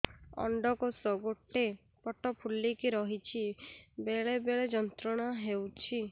ଅଣ୍ଡକୋଷ ଗୋଟେ ପଟ ଫୁଲିକି ରହଛି ବେଳେ ବେଳେ ଯନ୍ତ୍ରଣା ହେଉଛି